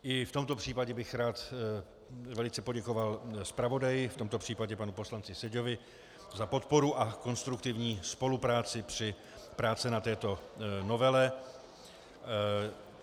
I v tomto případě bych rád velice poděkoval zpravodaji, v tomto případě panu poslanci Seďovi, za podporu a konstruktivní spolupráci při práci na této novele.